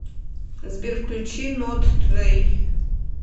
сбер включи нот тудэй